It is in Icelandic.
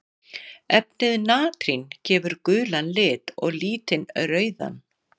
Efnið natrín gefur gulan lit og litín rauðan.